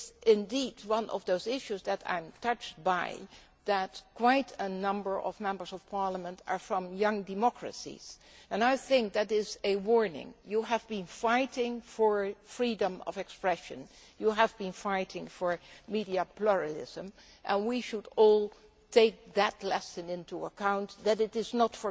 Indeed, one of the issues that I am touched by is that quite a number of Members of Parliament are from young democracies, and I think that is a warning. You have been fighting for freedom of expression and you have been fighting for media pluralism, and we should all take that lesson into account, which is that you do not